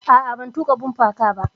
A'a, ban tuƙa bumper car ba.